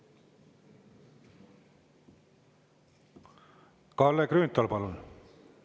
Kalle Grünthal, palun!